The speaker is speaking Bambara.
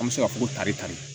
An bɛ se ka fɔ ko tari tan de